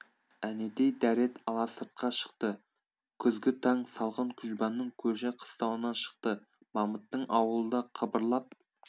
әнетей дәрет ала сыртқа шықты күзгі таң салқын күжбанның көші қыстауынан шықты мамыттың аулы да қыбырлап